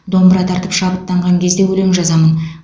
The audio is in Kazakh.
домбыра тартып шабыттанған кезде өлең жазамын